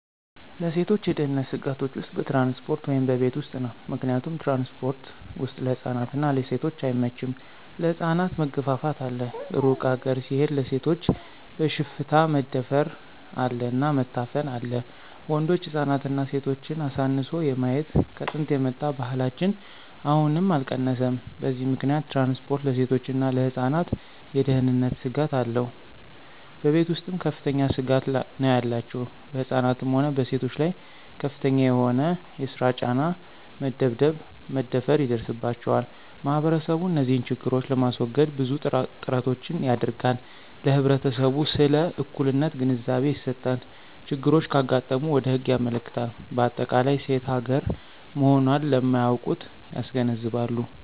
ለሴቶች የደህንነት ስጋቶች ውስጥ በትራንስፖርት ወይም በቤት ውስጥ ነው። ምክንያቱም ትራንስፖርት ወስጥ ለህፃናት እና ለሴቶች አይመቸም ለህፃናት መገፍፍት አለ እሩቅ ሀገር ሲሆድ ለሴቶች በሽፍታ መደፍር አለ እና መታፈን አለ ወንዶች ህፃናትና ሴቶችን አሳንሶ የማየት ከጥንት የመጣ ባህላችን አሁንም አልቀነሰም በዚህ ምከንያት ትራንስፖርት ለሴቶችና ለህፃናት የደህነንት ስጋት አለው። በቤተ ውስጥም ከፍተኛ ስጋት ነው ያላቸው በህፃናትም ሆነ በሴቶች ላይ ከፍተኛ የሆነ የሰራ ጫና፣ መደብደብ፣ መደፈራ ይደርስባቸዋል። ማህበረሰቡ እንዚህን ችግሮች ለማሰወገድ ብዙ ጥራቶችን ያደረጋል ለህብረተሰቡ ስለ እኩልነት ግንዛቤ ይሰጣል፣ ችግሮች ካጋጠሙ ወደ ህግ ያመለክታል በአጠቃላይ ሴት ሀገራ መሆኖን ለማያውቁት ያስገነዝባሉ።